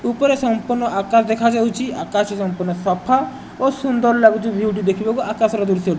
ଉପରେ ସଂପୂର୍ଣ୍ଣ ଆକାଶ ଦେଖା ଯାଉଛି ଆକାଶ ସଂପୂର୍ଣ୍ଣ ସଫା ଓ ସୁନ୍ଦର ଲାଗୁଛି ଵିୱେ ଟି ଦେଖିବାକୁ ଆକାଶ ର ଦୃଶ୍ୟ --